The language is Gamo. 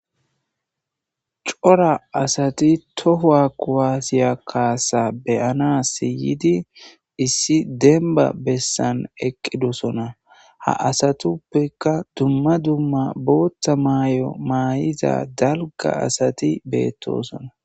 Cora asati tohowa kuwaasiya kaasa beyana siyidi issi denba bessan eqqidosona ha asatuppeka dumma dumma bootta maay'o maay7iza dalga asati beettosona.